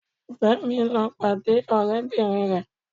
Fẹ́mi ń lọ́ pàdé ọ̀rẹ́bìnrin rẹ̀